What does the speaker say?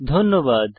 ধন্যবাদ